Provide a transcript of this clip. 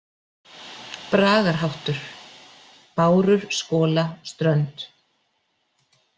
Bragarháttur: „Bárur skola strönd“.